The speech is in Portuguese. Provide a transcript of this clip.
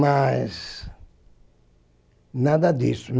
Mas nada disso.